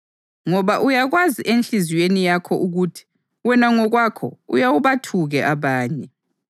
ngoba uyakwazi enhliziyweni yakho ukuthi wena ngokwakho uyawubathuke abanye.